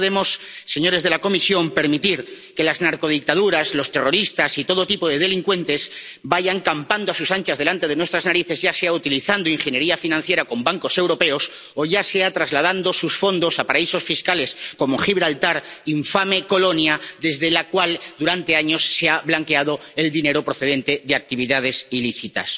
No podemos, señores de la Comisión, permitir que las narcodictaduras, los terroristas y todo tipo de delincuentes vayan campando a sus anchas delante de nuestras narices, ya sea utilizando ingeniería financiera con bancos europeos, o ya sea trasladando sus fondos a paraísos fiscales, como Gibraltar, infame colonia desde la cual durante años se ha blanqueado el dinero procedente de actividades ilícitas.